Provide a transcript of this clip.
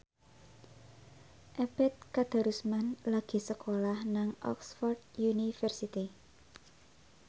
Ebet Kadarusman lagi sekolah nang Oxford university